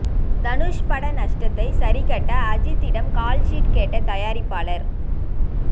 தனுஷ் பட நஷ்டத்தை சரி கட்ட அஜீத்திடம் கால்ஷீட் கேட்ட தயாரிப்பாளர்